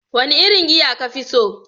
Wane irin giya ka fi so?